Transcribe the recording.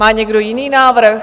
Má někdo jiný návrh?